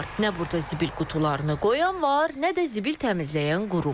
Nə burda zibil qutularını qoyan var, nə də zibil təmizləyən qurum.